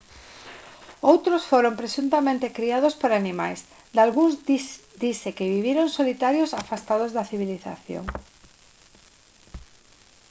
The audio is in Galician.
outros foron presuntamente criados por animais dalgúns dise que viviron solitarios afastados da civilización